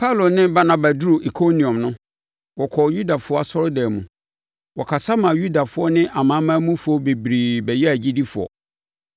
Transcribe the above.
Paulo ne Barnaba duruu Ikoniom no, wɔkɔɔ Yudafoɔ asɔredan mu. Wɔkasa ma Yudafoɔ ne amanamanmufoɔ bebree bɛyɛɛ agyidifoɔ.